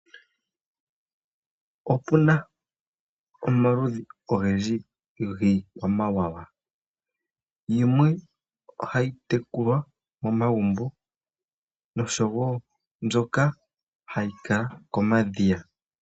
Opuna omaludhi ogendji giikwamawawa. Yimwe ohayi tekulwa momagumbo nosho wo mbyoka hayi kala komadhiya.